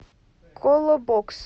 колобокс